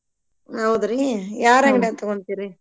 ಹೌದ್ರಿ? ಯಾರ್ ಅಂಗ್ಡ್ಯಾಗ್ ತಗೋಂತೀರಿ?